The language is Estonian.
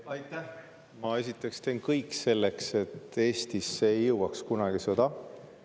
Ma teen esiteks kõik selleks, et sõda Eestisse kunagi ei jõuaks.